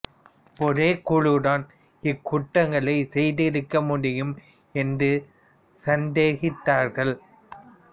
ஒரே குழு தான் இக்குற்றங்களைச் செய்திருக்க முடியும் என்று சந்தேகித்தார்கள்